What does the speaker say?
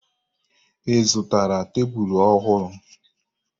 Ị zụtara tebulu ọhụrụ?